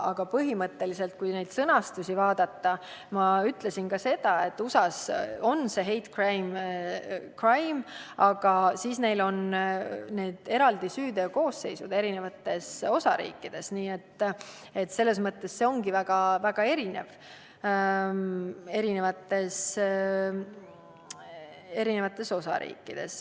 Aga põhimõtteliselt, kui neid sõnastusi vaadata, siis ma ütlesin ka seda, et USA-s on hate crime kuritegu, aga neil on eri osariikides eraldi süüteokoosseisud, nii et selles mõttes on see osariigiti väga erinev.